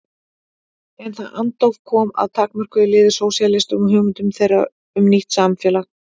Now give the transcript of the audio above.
En það andóf kom að takmörkuðu liði sósíalistum og hugmyndum þeirra um nýtt samfélag.